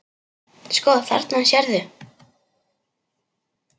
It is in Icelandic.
Sko, þarna sérðu.